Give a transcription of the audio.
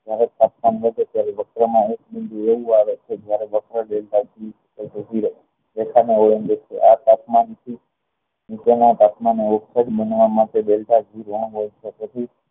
જ્યારે તાપમાન હોય છે ત્યારે એક બિંદુ એવું આવે છે જયારે પોતાના ઓલ્ન્ગીત આ તાપમાન થી નીચેના તાપમાન ના ઉપર બનવા માટે